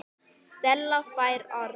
Stella fær orðið.